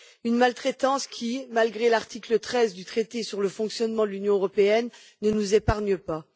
Une maltraitance qui, malgré l'article 13 du traité sur le fonctionnement de l'Union européenne, ne nous épargne pas.